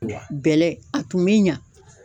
Bɛlɛ , a tun bɛ ɲa.